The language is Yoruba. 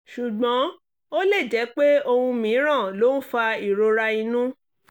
ṣùgbọ́n ó lè jẹ́ pé ohun mìíràn ló ń fa ìrora inú